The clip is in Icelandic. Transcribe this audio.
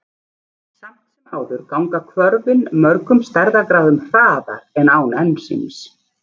Samt sem áður ganga hvörfin mörgum stærðargráðum hraðar en án ensíms.